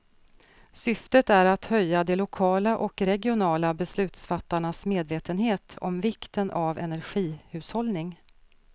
Syftet är att höja de lokala och regionala beslutsfattarnas medvetenhet om vikten av energihushållning.